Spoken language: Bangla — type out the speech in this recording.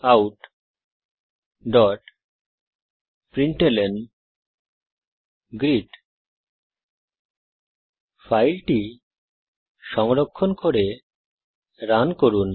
systemoutপ্রিন্টলন ফাইলটি সংরক্ষণ করে রান করুন